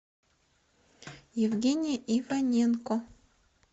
евгения иваненко